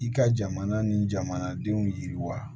I ka jamana ni jamanadenw yiriwa